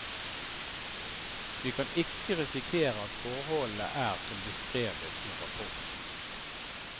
Vi kan ikke risikere at forholdene er som beskrevet i rapporten.